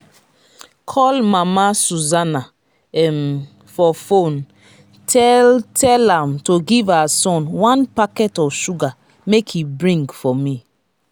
call mama susanna um for phone tell tell am to give her son one packet of sugar make he bring for me